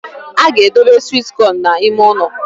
A ga-edobe sweet corn n’ime ụnọ